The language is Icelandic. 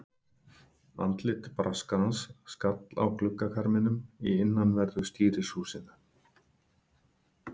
Andlit Braskarans skall á gluggakarminum í innanverðu stýrishúsinu.